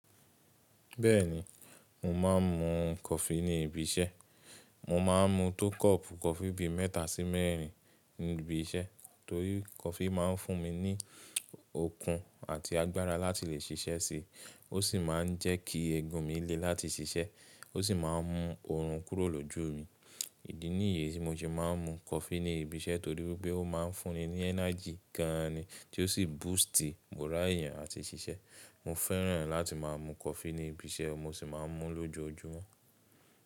Bẹ́ẹ̀ni, mò máa ń mú coffee ní ibi iṣẹ́. Mò máa ń mú tó kọ́ọ̀pù coffee bí mẹ́ta sí mẹ́rìn ín ní ibi iṣẹ́ torí coffee máa ń fún mi ní okun àti agbára láti lè ṣiṣẹ́ sí i. Ó sì máa ń jẹ́ kí egun mi lé láti ṣiṣẹ́. Ó sì máa ń mú oorun kúrò lójú mi. Ìdí nìyi tí mo ṣe máa ń mú coffee ní ibi iṣẹ́ torí wípé ó máa ń fún ni energy gan an ni tí ó sì boost moral èèyàn àti ṣiṣẹ́. Mo fẹ́ràn láti máa mú coffee ní ibi iṣẹ́, mo sì máa ń mú lójoojúmọ́.